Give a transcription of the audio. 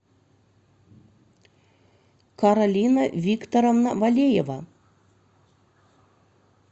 каролина викторовна валеева